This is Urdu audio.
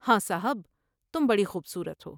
ہاں صاحب ، تم بڑی خوب صورت ہو ۔